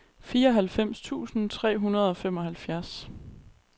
fireoghalvfems tusind tre hundrede og femoghalvfjerds